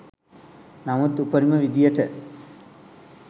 නමුත් උපරිම විදියට